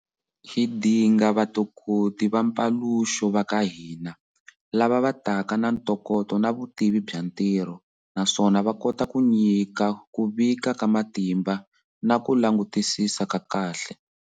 Hi dinga vatokoti va mpaluxo va ka hina, lava va taka na ntokoto na vutivi bya ntirho, naswona va kota ku nyika ku vika ka matimba na ku langutisisa ka kahle.